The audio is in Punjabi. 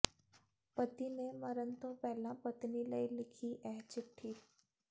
ਪਤੀ ਨੇ ਮਰਨ ਤੋਂ ਪਹਿਲਾਂ ਪਤਨੀ ਲਈ ਲਿਖੀ ਇਹ ਚਿੱਠੀ